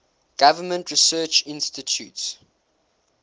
government research institutes